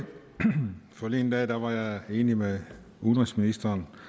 forleden dag var jeg enig med udenrigsministeren